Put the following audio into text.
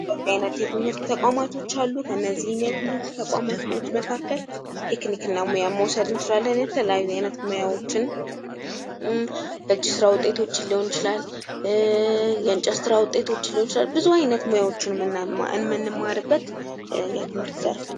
የተለያዩ የትምህርት ተቋማቶች አሉ ከእነዚህ የትምህርት ተቋማቶች መካከል ቴክኒክና ሙያ መውሰድ እንችላለን የተለያዩ አይነት ሙያዎችን የእጅ ስራ ውጤቶችን ሊሆን ይችላል የእንጨት ስራ ውጤቶች ሊሆኑ ይችላል ብዙ አይነት ሙያዎችን ምንማርበት የትምህርት ዘርፍ ነው ።